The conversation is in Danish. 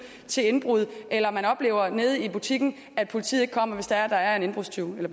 til indbrud eller man oplever nede i butikken at politiet ikke kommer hvis der er en indbrudstyv